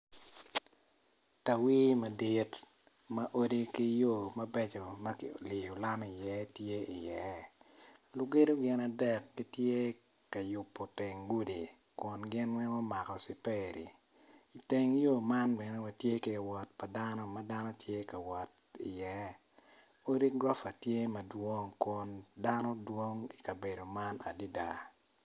Tawii madit ma odi ki yo mabeco ma kiliyo lam iye ti iye lugedo gin adek gitye ka yubo teng gudi kun gin weng omako ciperi teng yo man bene watye ki ka wot pa dano ma dano tye ka wot iye odi gurofa tye madwong kun dano dwong i ka bedo man dada